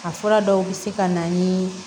A fura dɔw bɛ se ka na ni